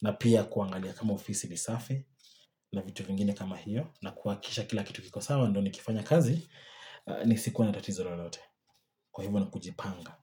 na pia kuangalia kama ofisi lisafe na vitu vingine kama hiyo. Na kuakisha kila kitu kiko sama ndoni kifanya kazi ni sikuwa na tatizo lalote. Kwa hivyo na kujipanga.